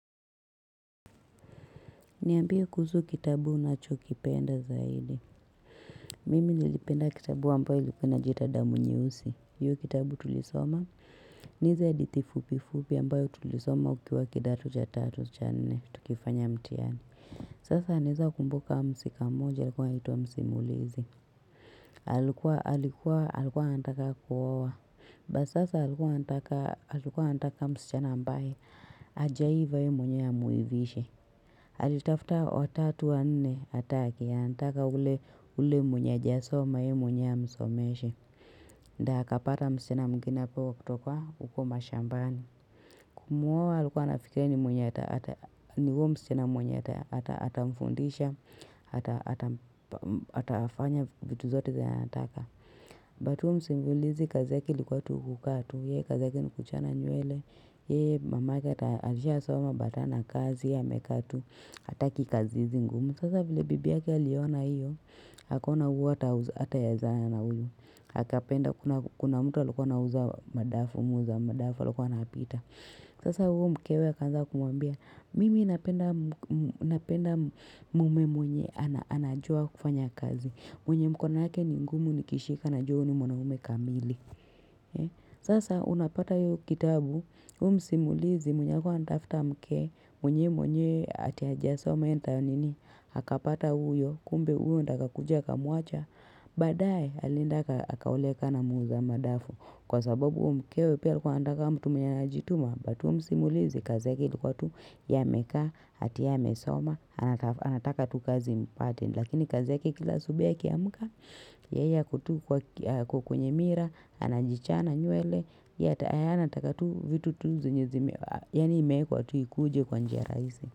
Niambie kuhusu kitabu unachokipenda zaidi. Mimi nilipenda kitabu ambayo ilikuwa inajiita damu nye usi. Hio kitabu tulisoma. Ni hizo hadithi fupifupi ambayo tulisoma ukiwa kidato cha tatu cha nne. Tukifanya mtiani. Sasa naeza kumbuka mhusika moja alikuwa anaitwa msimulizi. Alikuwa alikuwa alikuwa anataka kuowa. But sasa alikuwa anataka msichana ambaye. Ajaiva ye mwenyewe amuivishe. Halitafta watatu wa nne hataki anataka ule mwenye haja soma ye mwenyewe amsomeshe nda akapata msichana mwingine hapo wakutoka uko mashambani Kumuowa alikuwa anafikiria ni mwenye ata mfundisha atafanya vitu zote zenye anataka But huyo msimulizi kazi ilikuwa ni kukaa tu Ye kazi yake ni kuchana nywele Ye mamake ata alisha soma but hana kazi ye amekaa tu Hataki kazi hizi ngumu. Sasa vile bibi yake aliona hiyo. Akaona huu hataezana na huyu. Hakapenda kuna mtu alikuwa na huuza madafu, muuza madafu alikuwa anapita. Sasa huu mkewe akaanza kumwambia, mimi napenda mume mwenye anajua kufanya kazi. Mwenye mkono yake ni ngumu nikishika najua huu ni mwanaume kamili. Sasa unapata huyo kitabu huyu msimulizi mwenye alikuwa anatafta mke mwenye mwenye hati haja soma enta nini Hakapata uyo Kumbe uyo ndaka kujaka muacha badaye alienda akaoleka na muuza madafu Kwa sababu umkewe pia alikuwa anataka mtu mwenye ana jituma But huyu msimulizi kazi yake ili kuwa tu Ye amekaa yake ye ame soma anataka tukazi mpate Lakini kazi yake kila asubui akiamuka Yeye ako tu kwa kwenye mirror Anajichana nywele Ye anataka vitu tunzi Yani imeekwa tu ikuje kwa njia raisi.